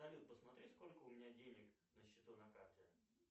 салют посмотри сколько у меня денег на счету на карте